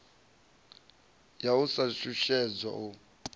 ya u sa shushedzwa u